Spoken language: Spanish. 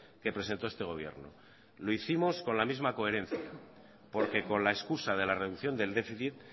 que presentó este gobierno lo hicimos con la misma coherencia porque con la escusa de la reducción del déficit